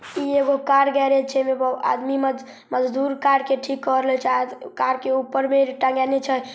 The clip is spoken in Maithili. इ एगो कार गेराज ‌ छै एमे आदमी मजदूर कार के ठीक क रहल छै कार के ऊपर मे टागिनी छय ।